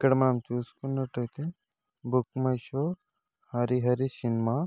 ఇక్కడ మనం చూసుకున్నట్లయితే book my show Harihara cinema.